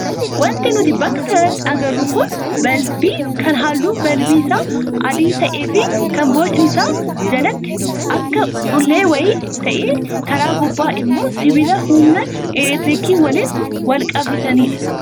Wanti nuti bakka kanatti agarru kun suuraa balbii kan halluun balbii isaa adii ta'ee fi kan bocni isaa jalatti akka dhullee wayii ta'ee, karaa gubbaa immoo sibiila humna elektiriikii waliin wal qabsiisanidha.